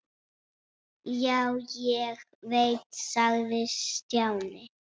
Já, ég veit sagði Stjáni.